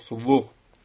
Yoxsulluq.